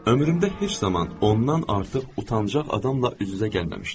Ömrümdə heç zaman ondan artıq utancağ adamla üz-üzə gəlməmişdim.